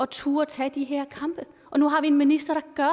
turde tage de her kampe og nu har vi en minister der